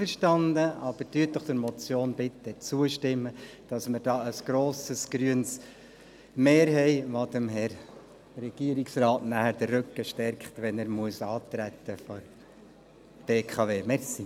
Stimmen Sie der Motion doch bitte zu, damit wir hier ein grosses grünes Mehr haben und dem Regierungsrat den Rücken stärken, wenn er bei der BKW antreten muss.